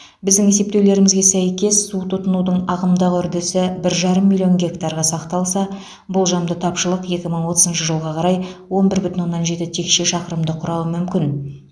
біздің есептеулерімізге сәйкес су тұтынудың ағымдағы үрдісі бір жарым миллион гектарға сақталса болжамды тапшылық екі мың отызыншы жылға қарай он бір бүтін оннан жеті текше шақырымды құрауы мүмкін